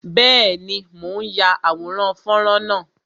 Bẹẹni, mo ń ya àwòrán fọ́nrán náà